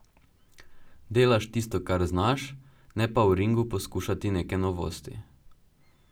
Delaš tisto, kar znaš, ne pa v ringu poskušati neke novosti.